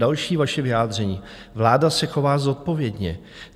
Další vaše vyjádření: "Vláda se chová zodpovědně.